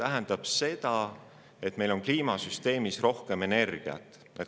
See tähendab seda, et meil on kliimasüsteemis rohkem energiat.